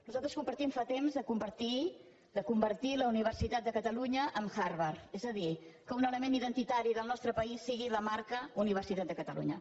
nosaltres compartim fa temps de convertir la universitat de catalunya en harvard és a dir que un element identitari del nostre país sigui la marca universitat de catalunya